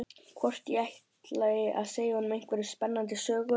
Hvort ég ætli að segja honum einhverja spennandi sögu.